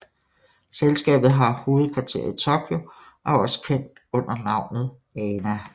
Selskabet har hovedkvarter i Tokyo og er også kendt under navnet ANA